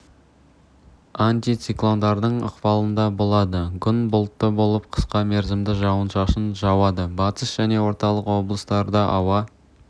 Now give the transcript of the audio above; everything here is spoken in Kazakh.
антициклондардың ықпалында болады күн бұлтты болып қысқа мерзімді жауын-шашын жауады батыс және орталық облыстарда ауа